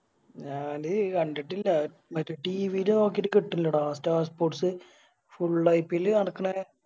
ഞാന് കണ്ടിട്ടില്ല മറ്റേ TV ല് നോക്കിട്ട് കിട്ടണില്ലെടാ Star sportsIPL നടക്കണേ